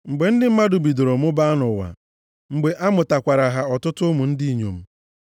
Mgbe ndị mmadụ bidoro mụbaa nʼụwa, mgbe a mụtakwaara ha ọtụtụ ụmụ ndị inyom,